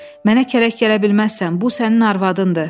Mənə kələk gələ bilməzsən, bu sənin arvadındır.